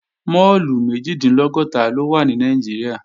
Máàlù méjìdínlọ́gọ́ta ló wà ní Nàìjíríà